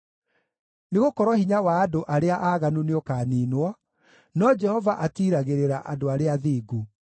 nĩgũkorwo hinya wa andũ arĩa aaganu nĩũkaniinwo, no Jehova atiiragĩrĩra andũ arĩa athingu.